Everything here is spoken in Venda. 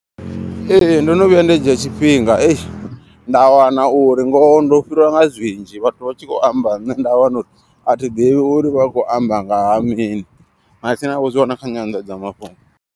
Ee ndono vhuya nda dzhia tshifhinga eish nda wana uri ngoho ndo fhiriwa nga zwinzhi. Vhathu vha tshi kho amba nṋe nda wana uri athi ḓivhi uri vha kho amba ngaha mini. Matsina vho zwi wana kha nyandadzamafhungo.